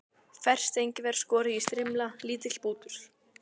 Ferskt engifer, skorið í strimla, lítill bútur